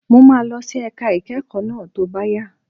Mo máa lọ sí ẹ̀ka ìkẹ́kọ̀ọ́ náà tó bá yá.